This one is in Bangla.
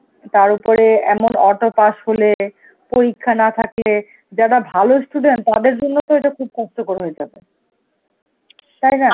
তার উপরে এমন auto pass ফলে, পরীক্ষা না থাকলে যারা ভালো student, তাদের জন্য তো এটা খুব কষ্টকর হয়ে যাবে. তাই না?